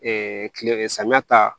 kile samiyɛ ta